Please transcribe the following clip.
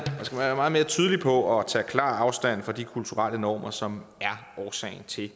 tydelig på at tage klar afstand fra de kulturelle normer som er årsagen til